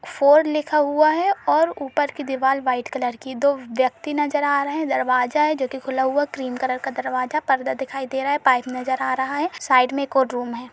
Four लिखा हुआ है और ऊपर की दीवाल व्हाइट कलर की दो व्यक्ति नजर आ रहे हैं। दरवाजा है जो कि खुला हुआ क्रीम कलर का दरवाजा पर्दा दिखाई दे रहा है। पाइप नजर आ रहा है। साइड में एक और रूम है।